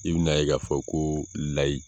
I bɛna a ye k'a fɔ ko layi